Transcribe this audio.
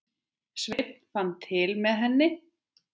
Sveinn fann til með henni.